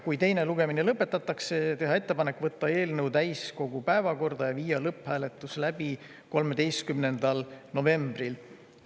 Kui teine lugemine lõpetatakse, on ettepanek võtta eelnõu täiskogu päevakorda ja viia lõpphääletus läbi 13. novembril.